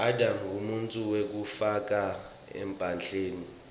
adam nqumuntfu wekucala emhlabeni